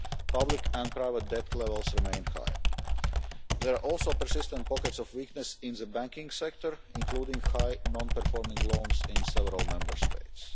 Public and private debt levels remain high. There are also persistent pockets of weakness in the banking sector, including high non performing loans in several Member States.